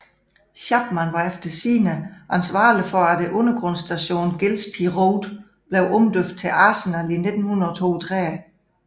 Chapman var efter sigende ansvarlig for at undergrundsstationen Gillespie Road blev omdøbt til Arsenal i 1932